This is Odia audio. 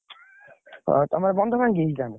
ଏଁ ତମ ବନ୍ଧ ଭାଙ୍ଗିଯାଇଛି ତାହେଲେ?